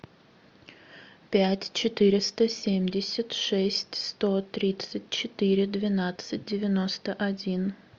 пять четыреста семьдесят шесть сто тридцать четыре двенадцать девяносто один